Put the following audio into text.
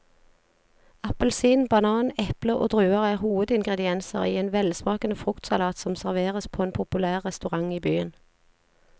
Appelsin, banan, eple og druer er hovedingredienser i en velsmakende fruktsalat som serveres på en populær restaurant i byen.